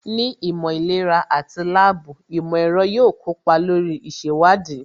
Ní ìmọ̀ ìlera àti láàbù, ìmọ̀ ẹ̀rọ yóò kópa lórí ìṣèwádìí